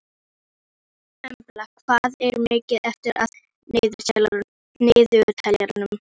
Geirný, læstu útidyrunum.